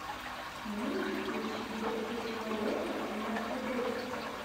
можешь включить досье человека в мерседесе